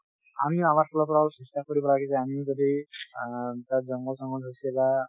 আমিও আমাৰ ফালৰ পৰা অলপ চেষ্টা কৰিব লাগে আমিও যদি আ তাত জঙ্গল চঙ্গল হৈছে বা